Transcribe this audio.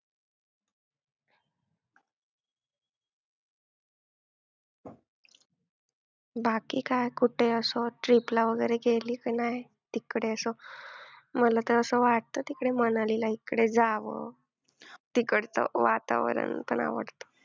बाकी काय कुठेअसं trip ला वगैरे गेली का नाही? तिकडे असं मला तर असं वाटतं तिकडे मनालीला इकडे जावं, तिकडचं वातावरण पण आवडतं.